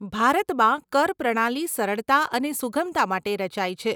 ભારતમાં કર પ્રણાલી સરળતા અને સુગમતા માટે રચાઈ છે.